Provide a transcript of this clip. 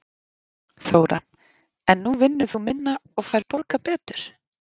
Þóra: En nú vinnur þú minna og færð borgað betur?